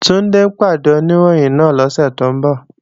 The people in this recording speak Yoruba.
Túndé ń pàdé Oníròyìn náà lọ́sẹ̀ tó ń bọ̀